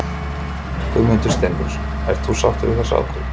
Guðmundur Steingrímsson: Ert þú sáttur við þessa ákvörðun?